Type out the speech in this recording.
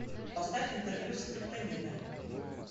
поставь интервью скриптонита